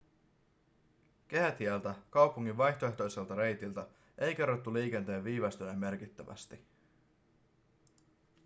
kehätieltä kaupungin vaihtoehtoiselta reitiltä ei kerrottu liikenteen viivästyneen merkittävästi